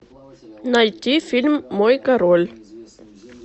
найти фильм мой король